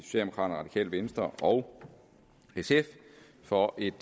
det radikale venstre og sf for et